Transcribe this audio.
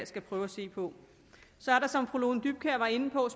skal prøve at se på så er der som fru lone dybkjær var inde på